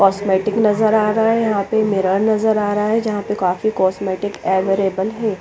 Cosmetic नज़र आ रहा है यहाँ पे मिरर नज़र आरहा है जहा पे काफी कॉस्मेटिक अवेरबले है।